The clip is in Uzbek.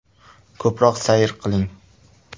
Ko‘proq sayr qiling.